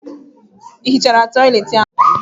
Ị hichara toịletị ahụ?